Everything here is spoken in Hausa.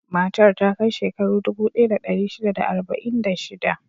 Matar ta kai shekaru dubu ɗaya da ɗari shida da arba'in da shida.